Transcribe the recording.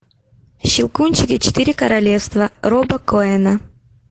щелкунчик и четыре королевства роба коэна